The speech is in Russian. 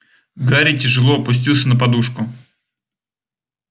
гарри тяжело опустился на подушку